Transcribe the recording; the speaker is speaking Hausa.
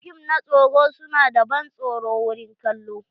Fim na tsoro su na da ban tsoro wurin kallo.